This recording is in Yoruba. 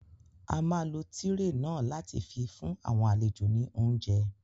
A máa lo tírè náà láti fi fún àwọn àlejò ní óuńjẹ